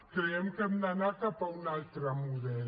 creiem que hem d’anar cap a un altre model